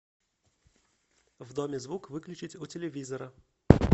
в доме звук выключить у телевизора